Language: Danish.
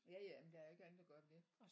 Ja ja men der er jo ikke andet at gøre end det